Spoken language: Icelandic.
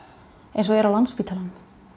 eins og er á Landspítalanum